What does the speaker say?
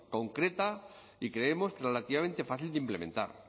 concreta y creemos que relativamente fácil de implementar